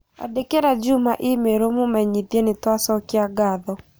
Andĩkĩre Juma i-mīrū ũmũmenyithie nitũacokia ngatho